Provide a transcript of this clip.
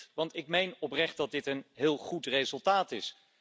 En terecht, want ik meen oprecht dat dit een heel goed resultaat is.